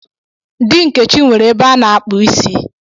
Di Nkechi nwere ebe a na-akpụ isi.